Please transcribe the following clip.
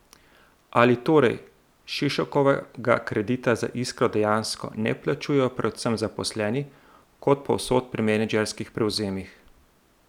Ali torej Šešokovega kredita za Iskro dejansko ne plačujejo predvsem zaposleni, kot povsod pri menedžerskih prevzemih?